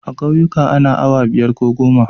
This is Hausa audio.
A ƙauyika ana awa biyar a gona.